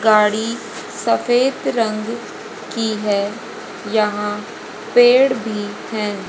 गाड़ी सफेद रंग की है यहां पेड़ भी हैं।